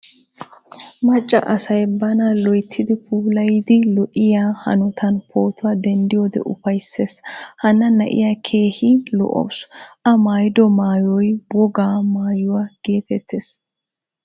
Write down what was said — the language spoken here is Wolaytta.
Macca asaay bana loyttidi puulayidi lo"iyaa hanotan pootuwaa denddiyode ufaysees. Hanna na"iyaa keehin lo"awusu. A maayido maayoy wogaa maayuwaa geetetees.